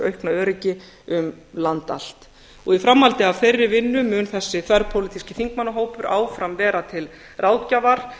aukna öryggi um land allt í framhaldi af þeirri vinnu mun þessi þverpólitíski þingmannahópur áfram vera til ráðgjafar